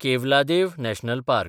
Keoladeo national park